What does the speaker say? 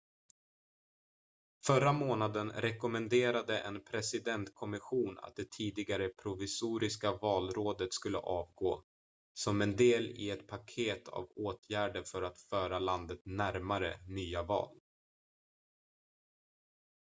förra månaden rekommenderade en presidentkommission att det tidigare provisoriska valrådet skulle avgå som en del i ett paket av åtgärder för att föra landet närmare nya val